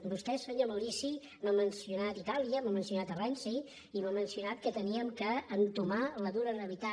vostè senyor maurici m’ha mencio·nat itàlia m’ha mencionat renzi i m’ha mencionat que havíem d’entomar la dura realitat